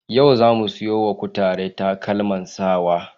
Yau za mu sayo wa kutare takalman sawa.